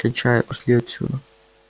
кончай и пошли отсюда